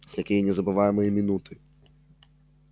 какие незабываемые минуты